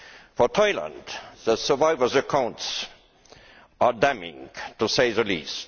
For Thailand, the survivors' accounts are damning, to say the least.